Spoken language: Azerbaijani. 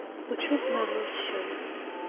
Bu çox məğrur çiçəyi idi.